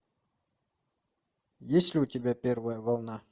есть ли у тебя первая волна